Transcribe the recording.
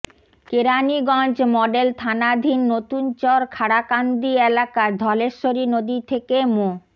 Keraniganj model থানাধীন নতুনচর খাড়াকান্দি এলাকার ধলেশ্বরী নদী থেকে মো